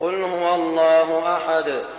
قُلْ هُوَ اللَّهُ أَحَدٌ